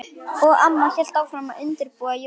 Og amma hélt áfram að undirbúa jólin.